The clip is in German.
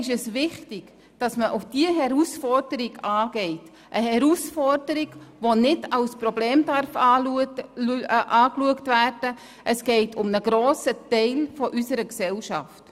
Umso wichtiger ist es, diese Herausforderung anzupacken – eine Herausforderung, die nicht als Problem betrachtet werden darf, denn es geht schlicht um einen grossen Teil unserer Gesellschaft.